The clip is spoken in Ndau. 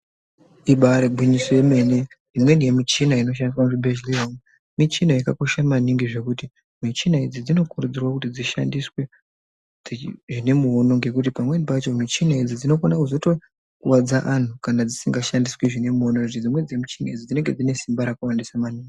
Ibaari gwinyiso yemene imweni yemichina inoshandiswe muchibhedhlera michina yakakosha maningi zvekuti michina idzi dzinokurudzirwa kuti dzishandiswe zvine muono nekuti pamweni pacho michina idzi dzinokona kuzotokuwadza anthu kana dzisingashandiswi zvine muono dzimweni michina idzi dzinenge dzine simba rakawandisa maningi.